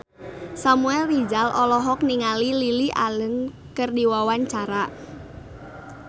Samuel Rizal olohok ningali Lily Allen keur diwawancara